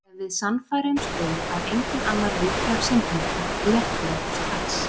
Ef við sannfærumst um að enginn annar viti af syndum okkar léttir okkur strax.